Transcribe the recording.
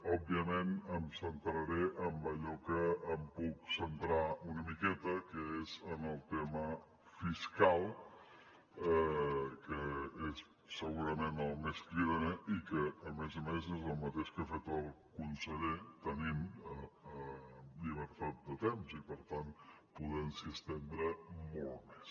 òbviament em centraré en allò que em puc centrar una miqueta que és en el tema fiscal que és segurament el més cridaner i que a més a més és el mateix que ha fet el conseller tenint llibertat de temps i per tant podent s’hi estendre molt més